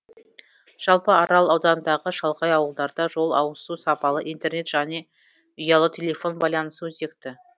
жалпы арал ауданындағы шалғай ауылдарда жол ауызсу сапалы интернет және ұялы телефон байланысы өзекті